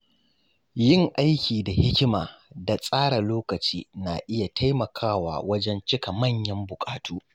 Yin aiki da hikima da tsara lokaci na iya taimakawa wajen cika manyan bukatu.